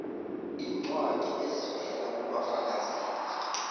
iincwadi ezivela kubafakazeli